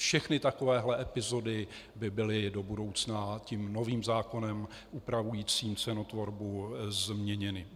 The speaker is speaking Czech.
Všechny takovéhle epizody by byly do budoucna tím novým zákonem upravujícím cenotvorbu změněny.